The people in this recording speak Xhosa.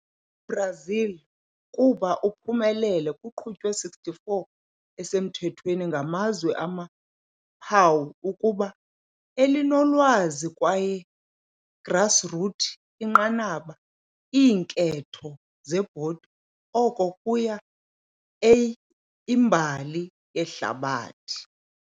Brazil kuba uphumelele kuqhutywe 64 esemthethweni ngamazwe amaphawu ukuba elinolwazi kwaye grassroots inqanaba iinketho zebhodi, oko kuya a imbali yehlabathi.